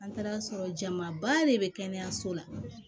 An taara sɔrɔ jamaba de be kɛnɛyaso la